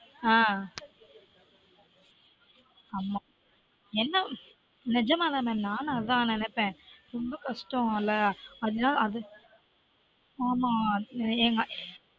ஆஹ் ஆமா என்ன நெஜமா தான் நானும் அதான் நெனைப்பேன் ரொம்ப கஷ்டம் ல அதுனால அது